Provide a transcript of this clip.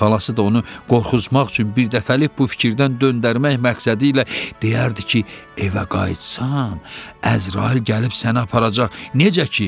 Xalası da onu qorxutmaq üçün birdəfəlik bu fikirdən döndərmək məqsədilə deyərdi ki, evə qayıtsan, Əzrail gəlib sənə aparacaq.